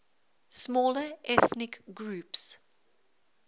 smaller ethnic groups